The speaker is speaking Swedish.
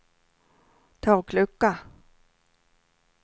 taklucka